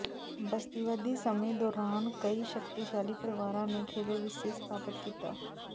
ਬਸਤੀਵਾਦੀ ਸਮੇਂ ਦੌਰਾਨ ਕਈ ਸ਼ਕਤੀਸ਼ਾਲੀ ਪਰਿਵਾਰਾਂ ਨੇ ਖੇਤਰ ਵਿਚ ਸਥਿੱਤ ਸਥਾਪਤ ਕੀਤਾ